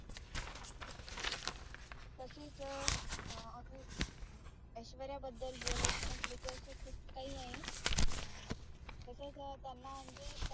तसेच ऐश्वर्या बद्दल बोलायचं म्हटलं कि असं खूप काही आहे अं तसच त्यांना म्हणजे